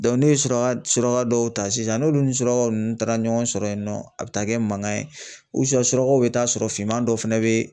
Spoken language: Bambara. ne ye suraka suraka dɔw ta sisan n'olu ni surakaw nunnu taara ɲɔgɔn sɔrɔ yen nɔ a bɛ taa kɛ mankan ye surakaw bi taa sɔrɔ finma dɔ fɛnɛ bɛ